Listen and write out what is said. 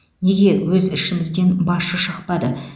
неге өз ішімізден басшы шықпады